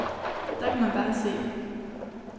Der kan man bare se.